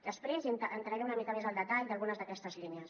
després entraré una mica més al detall d’algunes d’aquestes línies